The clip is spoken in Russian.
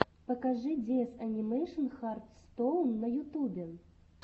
покажи диэс анимэйшн хартстоун на ютубе